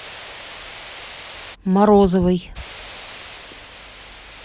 морозовой